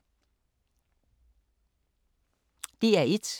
DR1